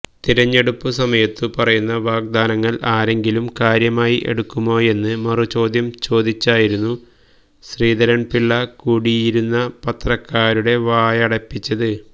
തിരഞ്ഞെടുപ്പു സമയത്തു പറയുന്ന വാഗ്ദാനങ്ങൾ ആരെങ്കിലും കാര്യമായി എടുക്കുമോയെന്ന് മറു ചോദ്യം ചോദിച്ചായിരിന്നു ശ്രീധരൻ പിള്ള കൂടിയിരുന്ന പത്രക്കാരുടെ വായടപ്പിച്ചത്